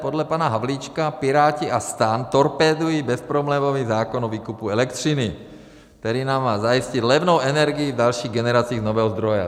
Podle pana Havlíčka Piráti a STAN torpédují bezproblémový zákon o výkupu elektřiny, který nám má zajistit levnou energii v dalších generacích z nového zdroje.